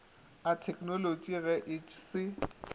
a theknolotši ge e se